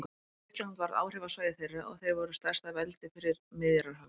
Grikkland varð áhrifasvæði þeirra og þeir voru stærsta veldi fyrir Miðjarðarhafi.